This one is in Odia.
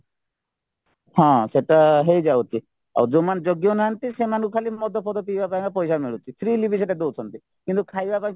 ହଁ ସେତ ହେଇଯାଉଛି ଆଉ ଯୋଉମାନେ ଯୋଗ୍ୟ ନାହାନ୍ତି ସେମାନଙ୍କୁ ଖାଲି ମଦ ପିଇବା ପାଇଁ କା ପଇସା ମିଳୁଛି freely ବି ସେଇଟା ଦଉଛନ୍ତି କିନ୍ତୁ ଖାଇବା ପାଇଁ